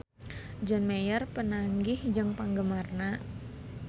John Mayer papanggih jeung penggemarna